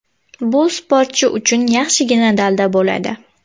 Bu sportchi uchun yaxshigina dalda bo‘ladi.